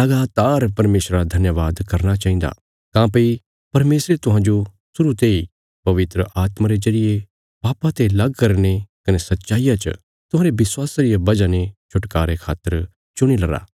लगातार परमेशरा रा धन्यवाद करना चाहिन्दा काँह्भई परमेशरे तुहांजो शुरु तेई पवित्र आत्मा रे जरिये पापा ते लग करीने कने सच्चाईया च तुहांरे विश्वासा रिया वजह ने छुटकारे खातर चुणीलरा